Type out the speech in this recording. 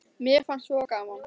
Mér fannst svo gaman!